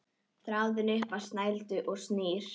Þráðinn upp á snældu snýr.